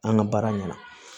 An ka baara ɲɛna